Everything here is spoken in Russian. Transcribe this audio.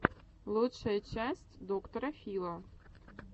лучшая часть доктора фила